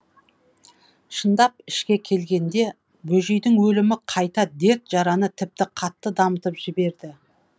шындап ішке келгенде бөжейдің өлімі қайта дерт жараны тіпті қатты дамытып жіберді